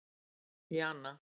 Jana